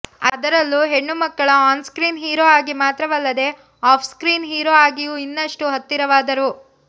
ಅದರಲ್ಲೂ ಹೆಣ್ಣು ಮಕ್ಕಳ ಆನ್ಸ್ಕ್ರೀನ್ ಹೀರೋ ಆಗಿ ಮಾತ್ರವಲ್ಲದೇ ಆಫ್ ಸ್ಕ್ರೀನ್ ಹೀರೋ ಆಗಿಯೂ ಇನ್ನಷ್ಟು ಹತ್ತಿರವಾದರು